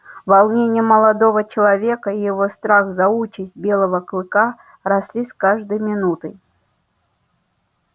волнение молодого человека и его страх за участь белого клыка росли с каждой минутой